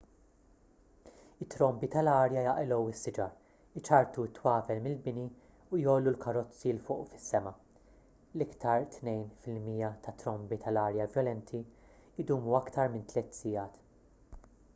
it-trombi tal-arja jaqilgħu s-siġar iċarrtu t-twavel mill-bini u jgħollu l-karozzi l fuq fis-sema l-iktar tnejn fil-mija tat-trombi tal-arja vjolenti jdumu iktar minn tliet sigħat